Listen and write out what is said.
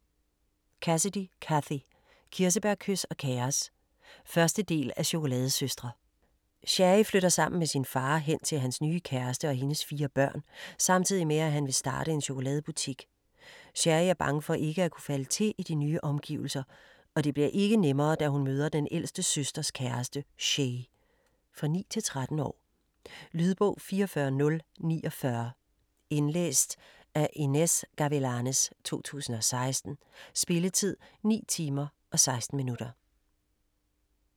Cassidy, Cathy: Kirsebærkys og kaos 1. del af Chokoladesøstre. Cherry flytter sammen med sin far hen til hans nye kæreste og hendes 4 børn, samtidig med at han vil starte en chokoladebutik. Cherry er bange for ikke at kunne falde til i de nye omgivelser, og det bliver ikke nemmere, da hun møder den ældste søsters kæreste, Shay. For 9-13 år. Lydbog 44049 Indlæst af Inez Gavilanes, 2016. Spilletid: 9 timer, 16 minutter.